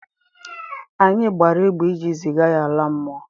Anyi gbara egbe iji ziga ya ala mmụọ.